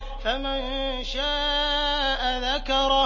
فَمَن شَاءَ ذَكَرَهُ